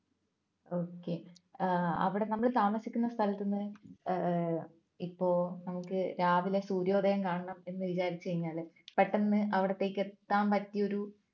okay അവിടെ നമ്മളു താമസിക്കുന്ന സ്ഥലത്ത്ന്ന് ഏർ ഏർ ഇപ്പോ നമുക്ക് രാവിലെ സൂര്യോദയം കാണണം എന്ന് വിചാരിച്ചു കഴിഞ്ഞാൽ പെട്ടെന്ന് അവിടുത്തേക്ക് എത്താൻ പറ്റിയ ഒരു